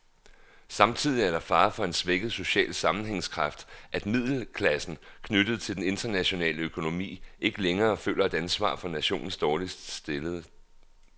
Samtidig er der fare for en svækket social sammenhængskraft, at middelklassen, knyttet til den internationale økonomi, ikke længere føler et ansvar for nationens dårligt stillede.